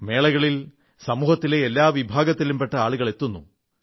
മേളകളിൽ സമൂഹത്തിലെ എല്ലാ വിഭാഗത്തിലും പെട്ട ആളുകൾ എത്തുന്നു